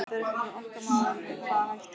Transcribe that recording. Það er bara ekki okkar mál með hvaða hætti